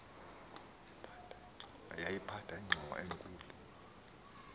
yayiphatha ingxowa enkulu